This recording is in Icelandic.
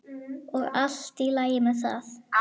Og allt í lagi með það.